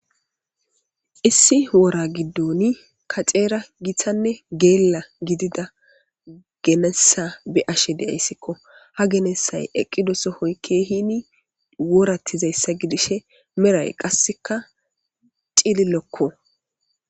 Issi woora giddon kacera geela gidida genessa be'ashe de'aysikko ha genessay eqqido sohoy keehinni wooratizaso gidishe wooray qasekka cillilokko